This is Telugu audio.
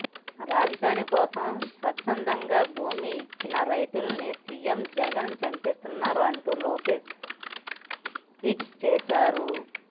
రాజధాని కోసం స్వచ్ఛందంగా భూమి ఇచ్చిన రైతుల్నిసీఎం జగన్ చంపేస్తున్నారంటూ లోకేష్ ట్వీట్ చేశారు